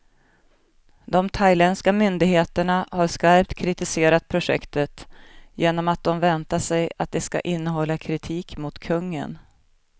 De thailändska myndigheterna har skarpt kritiserat projektet, genom att de väntar sig att det ska innehålla kritik mot kungen.